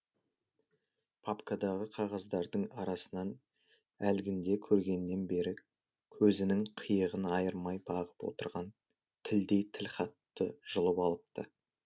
папкадағы қағаздардың арасынан әлгінде көргеннен бері көзінің қиығын айырмай бағып отырған тілдей тілхатты жұлып алыпты